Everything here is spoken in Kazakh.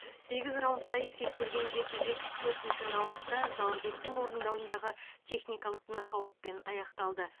сегіз раундқа есептелген жекпе жек төртінші раундта заурбектің орындауындағы техникалық нокаутпен аяқталды